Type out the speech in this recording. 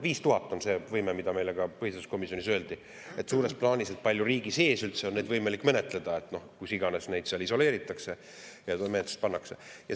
5000 on suures plaanis see võime, mida meile ka põhiseaduskomisjonis öeldi, kui, kui palju riigis üldse on neid võimalik menetleda, kui nad kus iganes on isoleeritud ja menetlus.